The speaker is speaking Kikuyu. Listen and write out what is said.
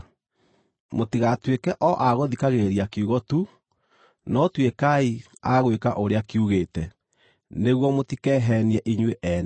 Mũtigatuĩke o a gũthikagĩrĩria kiugo tu, no tuĩkai a gwĩka ũrĩa kiugĩte, nĩguo mũtikeheenie inyuĩ ene.